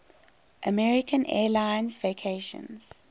american airlines vacations